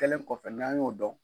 Kɛlen kɔfɛ n'an y'o dɔn.